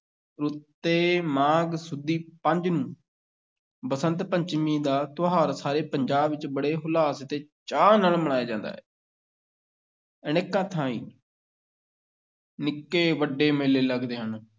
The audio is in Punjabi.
ਰੁੱਤੇ ਮਾਘ ਸੁਦੀ ਪੰਜ ਨੂੰ ਬਸੰਤ ਪੰਚਮੀ ਦਾ ਤਿਉਹਾਰ ਸਾਰੇ ਪੰਜਾਬ ਵਿੱਚ ਬੜੇ ਹੁਲਾਸ ਤੇ ਚਾਅ ਨਾਲ ਮਨਾਇਆ ਜਾਂਦਾ ਹੈ ਅਨੇਕਾਂ ਥਾਂਈਂ ਨਿੱਕੇ-ਵੱਡੇ ਮੇਲੇ ਲੱਗਦੇ ਹਨ।